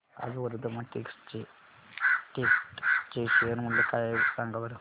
आज वर्धमान टेक्स्ट चे शेअर मूल्य काय आहे सांगा बरं